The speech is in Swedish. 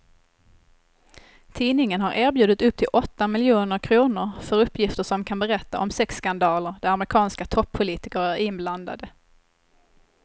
Tidningen har erbjudit upp till åtta miljoner kr för uppgifter som kan berätta om sexskandaler där amerikanska toppolitiker är inblandade.